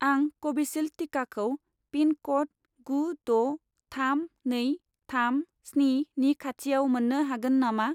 आं कभिसिल्द टिकाखौ पिन क'ड गु द' थाम नै थाम स्नि नि खाथिआव मोन्नो हागोन नामा